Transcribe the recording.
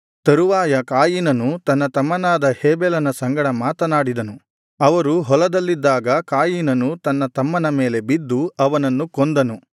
ತರುವಾಯ ಕಾಯಿನನು ತನ್ನ ತಮ್ಮನಾದ ಹೇಬೆಲನ ಸಂಗಡ ಮಾತನಾಡಿದನು ಅವರು ಹೊಲದಲ್ಲಿದ್ದಾಗ ಕಾಯಿನನು ತನ್ನ ತಮ್ಮನ ಮೇಲೆ ಬಿದ್ದು ಅವನನ್ನು ಕೊಂದನು